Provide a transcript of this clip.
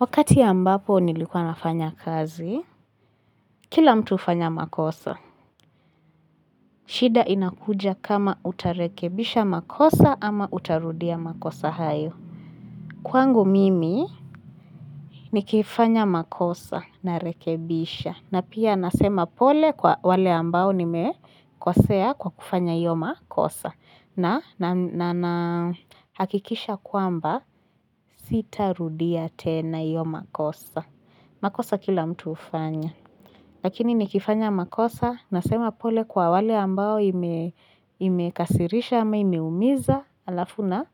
Wakati ya ambapo nilikuwa nafanya kazi, kila mtu hufanya makosa. Shida inakuja kama utarekebisha makosa ama utarudia makosa hayo. Kwangu mimi nikifanya makosa narekebisha. Na pia nasema pole kwa wale ambao nime kosea kwa kufanya hiyo makosa. Na na na hakikisha kwamba sitarudia tena hiyo makosa. Makosa kila mtu ufanya. Lakini nikifanya makosa na sema pole kwa wale ambao ime imekasirisha ama imeumiza alafu na